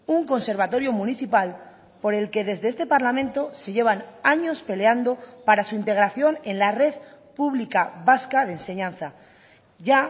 un conservatorio municipal por el que desde este parlamento se llevan años peleando para su integración en la red pública vasca de enseñanza ya